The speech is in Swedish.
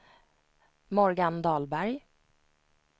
Morgan Dahlberg